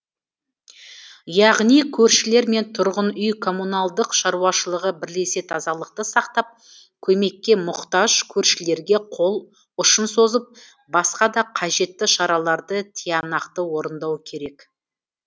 яғни көршілер мен тұрғын үй коммуналдық шаруашылығы бірлесе тазалықты сақтап көмекке мұқтаж көршілерге қол ұшын созып басқа да қажетті шараларды тиянақты орындау керек